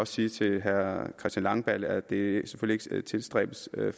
sige til herre christian langballe at det selvfølgelig ikke tilstræbes at